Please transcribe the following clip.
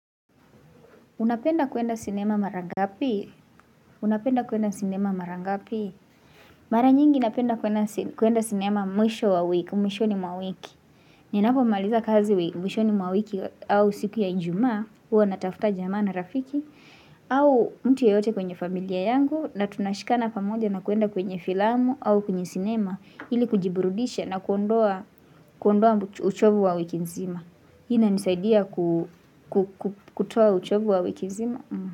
Unapenda kuenda sinema mara ngapi? Unapenda kuenda sinema mara ngapi? Mara nyingi napenda kuenda sinema mwisho wa wiki, mwishoni mwa wiki. Ninapomaaliza kazi mwishoni mawiki au siku ya ijumaa, huwa natafuta jamaa na rafiki, au mtu yeyote kwenye familia yangu, na tunashikana pamoja na kuenda kwenye filamu au kwenye sinema, ili kujiburudisha na kuondoa uchovu wa wiki nzima. Hii inanisaidia kutoa uchovu wa wiki nzima.